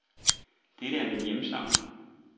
Dette er ikke min hjemstavn.